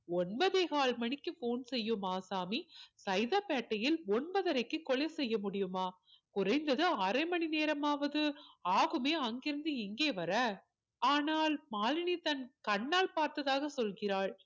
ஒன்பதே கால் மணிக்கு phone செய்யும் ஆசாமி சைதாப்பேட்டையில் ஒன்பதரைக்கு கொலை செய்ய முடியுமா குறைந்தது அரைமணி நேரமாவது ஆகுமே அங்கே இருந்து இங்க வர ஆனால் மாலினி தன் கண்ணால் பார்த்ததாக சொல்கிறாள்